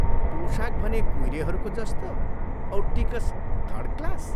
पोशाक भने कुइरेहरूको जस्तो औ टिकस थर्ड क्लास।